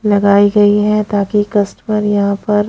लगाई गई है ताकि कस्टमर यहां पर--